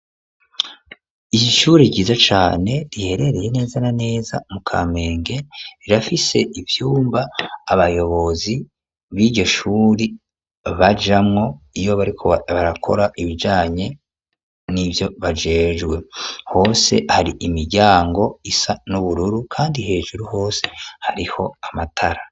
ishure ryiza cane riherereye neza na neza mu Kamenge rirafise ivyumba abayobozi biryo shuri bajamwo iyo bariko barakora ibijanye n'ivyo bajejwe, hose hari imiryango isa n'ubururu kandi hejuru hose hariho amatara.